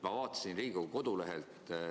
Ma vaatasin Riigikogu kodulehelt.